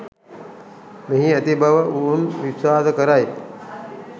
මෙහි ඇති බව ඔවුන් විශ්වාස කරයි.